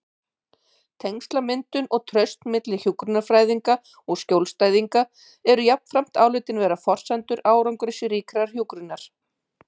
Tengslamyndun og traust milli hjúkrunarfræðinga og skjólstæðinga eru jafnframt álitin vera forsendur árangursríkrar hjúkrunar.